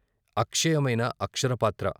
అక్షయమైన అక్షరపాత్ర.